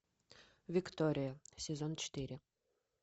виктория сезон четыре